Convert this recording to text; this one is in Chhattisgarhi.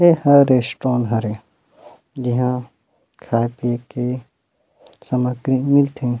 ए ह रेस्ट्रॉन हरे इहा खाय -पिए के सामाग्री मिलथे।